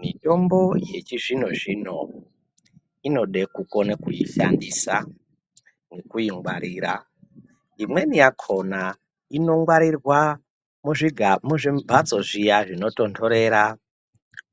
Mitombo yechizvino zvino inoda kukona kuishandisa nekuingwarira, imweni yakona inogwarirwa muzvimbatso zviya zvinotonhorera